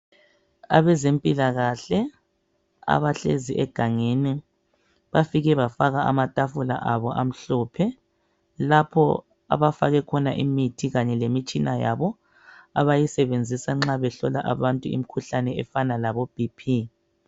Abezempilakahle abahlezi egangeni bafike bafaka amatafula abo amhlophe lapho abafake khona imithi kanye lemitshina yabo abayisebenzisa nxa behlola abantu imikhuhlane efana labo"Bp".